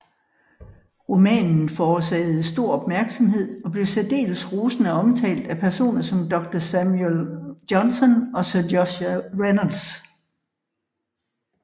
Romanen forårsagede stor opmærksomhed og blev særdeles rosende omtalt af personer som Dr Samuel Johnson og Sir Joshua Reynolds